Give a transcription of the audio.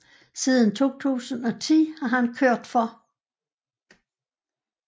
Siden 2010 har han kørt for